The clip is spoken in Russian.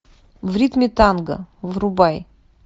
в ритме танго врубай